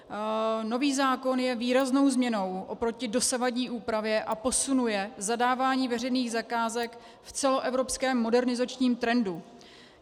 Nový zákon je výraznou změnou oproti dosavadní úpravě a posunuje zadávání veřejných zakázek v celoevropském modernizačním trendu.